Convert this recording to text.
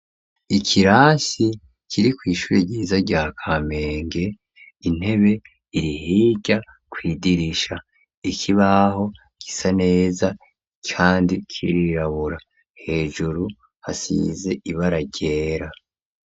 Ikirasi kiri kw'ishure ryiza rya Kamenge, intebe iri hirya, kw'idirisha; ikibaho gisa neza, kandi kirirabura; hejuru, hasize ibara ryera.